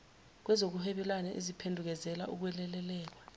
kwezokuhwebelana eziphendukezela ukwelekelelwa